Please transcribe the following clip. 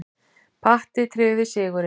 Patti tryggði sigurinn.